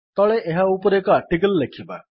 ତଳେ ଏହା ଉପରେ ଏକ ଆର୍ଟିକିଲ୍ ଲେଖିବା